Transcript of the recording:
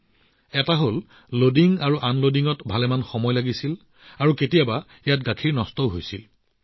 প্ৰথমতে আগতে লোডিং আৰু আনলোডিং কৰাত বহুত সময় লাগে আৰু বহু সময়ত গাখীৰও তাত নষ্ট হৈ গৈছিল